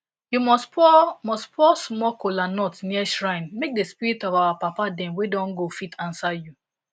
you must pour must pour small kola nut near shrine make the spirit of our papa dem wey don go fit answer you